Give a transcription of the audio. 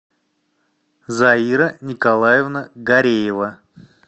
заира николаевна гореева